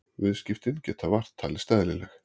Viðskiptin geta vart talist eðlileg